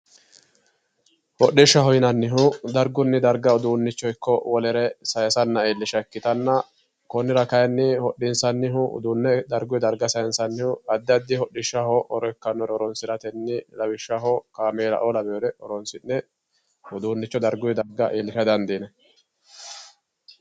Hoxxishshaho yinannihu dargun darga uduunicho ikko wolere sayiisanna iilisha ikitanna konnira kayiini hoxxinsannihu uduune dargunni darga sayiinsannihu addi addi hoxxishshaho horo ikkawoore horonsiratennib lawishshaho kaameelaoo laweyore horonsi'ne uduunicho darguyi darga iillisha dandiinayi